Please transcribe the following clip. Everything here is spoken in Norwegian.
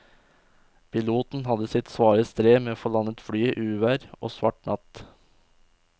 Piloten hadde sitt svare strev med å få landet flyet i uvær og svart natt.